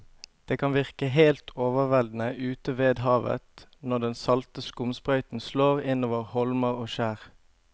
Det kan virke helt overveldende ute ved havet når den salte skumsprøyten slår innover holmer og skjær.